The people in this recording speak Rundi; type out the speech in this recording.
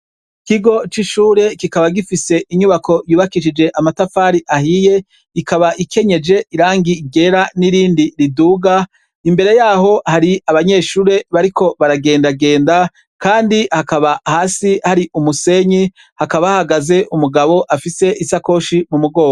Ikigo c'ishure kikaba gifise inyubako yubakishije amatafari ahiye, ikaba ikenyeje irangi ryera n'irindi riduga, imbere yaho hari abanyeshure bariko baragendagenda kandi hakaba hasi hari umusenyi hakaba hahagaze umugabo afise isakoshi mu mugongo.